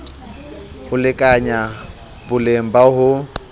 ho lekanya boleng ba ho